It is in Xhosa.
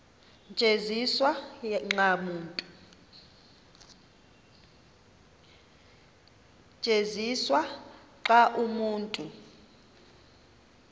tyenziswa xa umntu